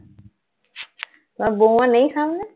তোমার বৌমা নেই সঙ্গে?